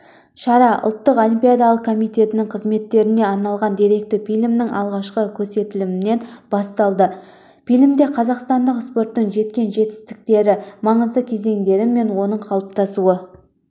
шара ұлттық олимпиадалық комитетінің қызметіне арналған деректі фильмнің алғашқы көрсетілімнен басталды фильмде қазақстандық спорттың жеткен жетістіктері маңызды кезеңдері мен оның қалыптасуы